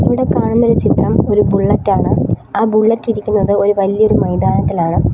ഇവിടെ കാണുന്നൊരു ചിത്രം ഒരു ബുള്ളറ്റാണ് ആ ബുള്ളറ്റിരിക്കുന്നത് ഒരു വലിയൊരു മൈതാനത്തിലാണ്.